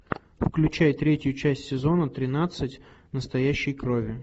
включай третью часть сезона тринадцать настоящей крови